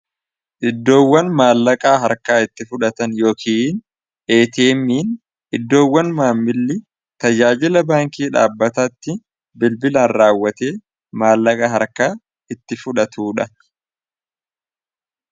Iddoowwan maallaqaa harkaa itti fudhatan yookiin iddoowwan maammilli tajaajila baankii dhaabbataatti bilbilaan raawwate maallaqaa harkaa itti fudhatudha.